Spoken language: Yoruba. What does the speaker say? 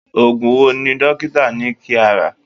Oògùn wo ni dókítà ní kí a rà?